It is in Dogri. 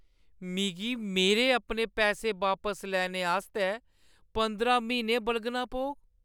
मिगी मेरे अपने पैसे बापस लैने आस्तै पंदरां म्हीने बलगना पौग।